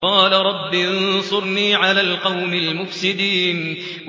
قَالَ رَبِّ انصُرْنِي عَلَى الْقَوْمِ الْمُفْسِدِينَ